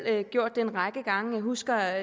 gjort det en række gange jeg husker